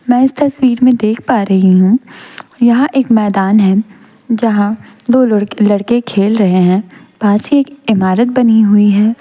मैं इस तस्वीर में देख पा रही हूं यहां एक मैदान है जहां दो लोड़क लड़के खेल रहे हैं पास ही एक इमारत बनी हुई है।